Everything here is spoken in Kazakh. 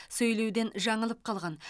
сөйлеуден жаңылып қалған